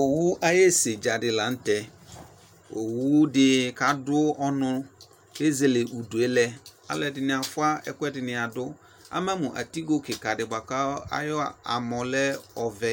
Owʋ ayʋ esedzadi lanʋtɛ owʋdi kadʋ ɔnʋ kʋ eze udue lɛ alʋɛdini afua ɛkʋɛdini adʋ amamʋ atigo kikadi buaku ayʋ amɔlɛ ɔvɛ